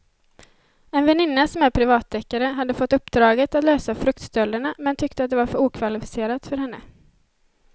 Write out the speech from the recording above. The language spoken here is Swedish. En väninna som är privatdeckare hade fått uppdraget att lösa fruktstölderna men tyckte att det var för okvalificerat för henne.